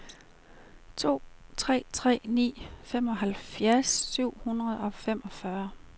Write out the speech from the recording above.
to tre tre ni femoghalvfjerds syv hundrede og femogfyrre